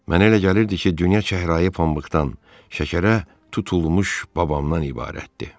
Mənə elə gəlirdi ki, dünya çəhrayı pambıqdan, şəkərə tutulmuş babamdan ibarətdir.